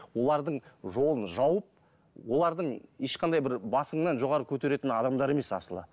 олардың жолын жауып олардың ешқандай бір басыңнан жоғары көтеретін адамдар емес асылы